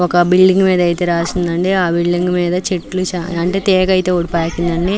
ఒక బిల్డింగ్ మీద రాసివుంది అండి. ఆ బిల్డింగ్ చెట్లు అంటే తీగ అయితే పాకింది అంది.